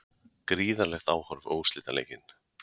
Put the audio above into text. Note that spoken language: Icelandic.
Gríðarlegt áhorf á úrslitaleikinn